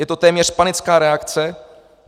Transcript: Je to téměř panická reakce.